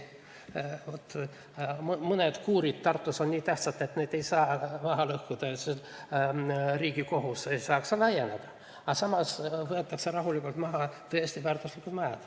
Mõned kuurid Tartus on nii tähtsad, et neid ei saa maha lõhkuda, ja Riigikohus ei saa laieneda, aga samas võetakse rahulikult maha tõesti väärtuslikud majad.